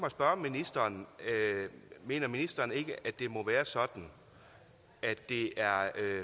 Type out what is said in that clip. at spørge ministeren mener ministeren ikke at det må være sådan at det er